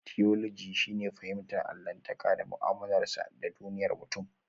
Tiyoloji shine fahimtar allahntaka da mu'amalarsa da duniyar mutum.